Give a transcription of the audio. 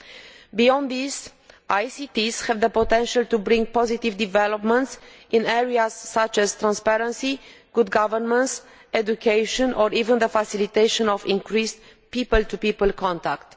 Furthermore, ICTs have the potential to bring positive developments in areas such as transparency, good governance, education or even the facilitation of increased people to people contact.